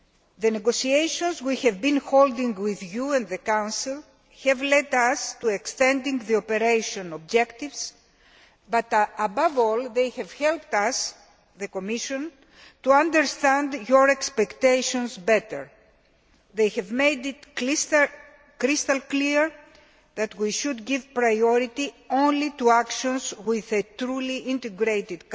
The negotiations we have been holding with you and the Council have led us to extend the operational objectives but, above all, they have helped us at the Commission to understand your expectations better they have made it crystal clear that we should give priority only to actions of a truly integrated